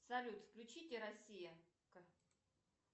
салют включите россия